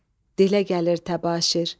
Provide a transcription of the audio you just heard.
Dilə gəlir təbaşir.